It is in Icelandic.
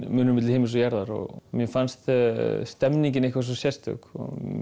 munur milli himins og jarðar mér fannst stemningin eitthvað svo sérstök